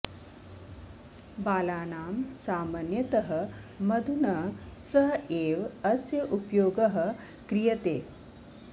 बालानां सामन्यतः मधुना सह एव अस्य उपयोगः क्रियते